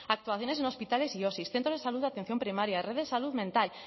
actuaciones en hospitales y osi centros de salud de atención primaria red de salud mental